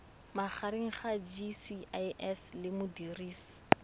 magareng ga gcis le modirisi